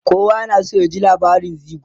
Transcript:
kowa yana San ya ji labarin gizo